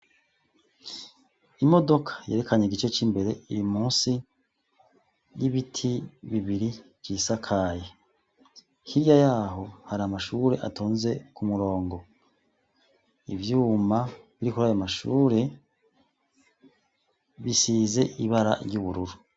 Imodoka yerekanye igice c'imbere iri musi y'ibiti bibiri vyisakaye hirya yaho hari amashure atonze ku murongo ivyuma biri kurayo mashure bisize ibara ry'ubururu.